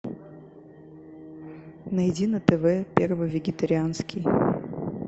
найди на тв первый вегетарианский